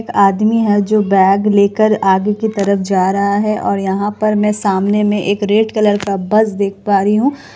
एक आदमी है जो बैग लेकर आगे की तरफ जा रहा है और यहाँ पर मैं सामने मे एक रेड कलर का बस देख पा रही हूँ।